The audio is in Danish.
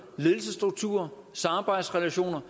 ledelsesstruktur samarbejdsrelationer